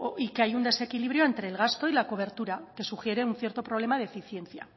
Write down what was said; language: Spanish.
y que hay un desequilibrio entre el gasto y la cobertura que sugiere un cierto problema de eficiencia